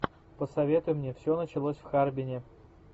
посоветуй мне все началось в харбине